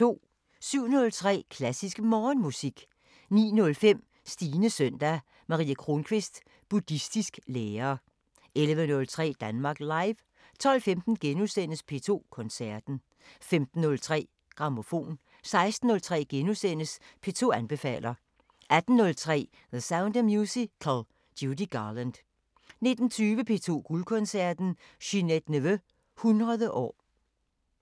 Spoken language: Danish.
07:03: Klassisk Morgenmusik 09:05: Stines søndag – Marie Kronquist, Buddhistisk lærer 11:03: Danmark Live 12:15: P2 Koncerten * 15:03: Grammofon 16:03: P2 anbefaler * 18:03: The Sound of Musical – Judy Garland 19:20: P2 Guldkoncerten: Ginette Neveu 100 år